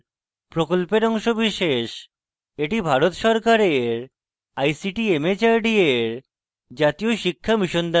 এটি ভারত সরকারের ict mhrd এর জাতীয় শিক্ষা mission দ্বারা সমর্থিত